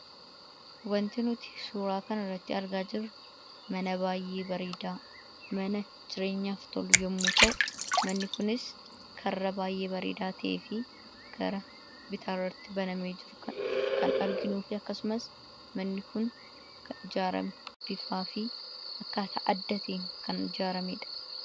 Wanti nuti suuraa kanarratti argaa jirru, mana baay'ee bareedaa mana jireenyaaf tolu yommuu ta'u, manni kunis karra baay'ee bareedaa ta'ee fi gara bitaarratti banamee jiru kan arginuu fi akkasumas manni kun kan ijaarame bifaa fi akkaataa adda ta'een kan ijaarameedha.